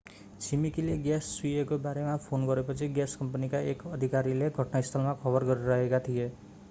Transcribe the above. छिमेकीले ग्याँस चुहिएको बारेमा फोन गरेपछि ग्याँस कम्पनीका एक अधिकारीले घटनास्थलमा खबर गरिरहेका थिए